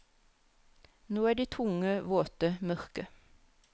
Nå er de tunge, våte, mørke.